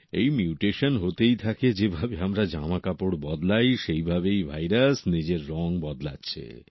এই মিউটেশন হতেই থাকে যেভাবে আমরা জামা কাপড় বদলাই সেই ভাবেই ভাইরাস নিজের রং বদলাচ্ছে